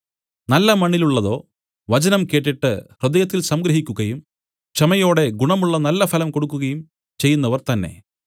നല്ല മണ്ണിലുള്ളതോ വചനം കേട്ടിട്ട് ഹൃദയത്തിൽ സംഗ്രഹിക്കുകയും ക്ഷമയോടെ ഗുണമുള്ള നല്ലഫലം കൊടുക്കുകയും ചെയ്യുന്നവർ തന്നേ